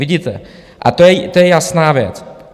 Vidíte, a to je jasná věc.